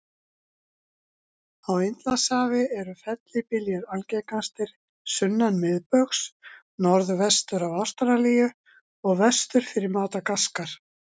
Á Indlandshafi eru fellibyljir algengastir sunnan miðbaugs, norðvestur af Ástralíu og vestur fyrir Madagaskar.